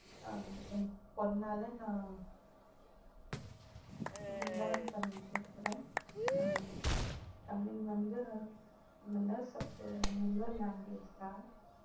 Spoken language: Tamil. ஆஹ் என் பொண்ணால நான் learn பண்ணிட்டிருக்கிறேன் தமி~ தமிழ் வந்து நல்ல language தான்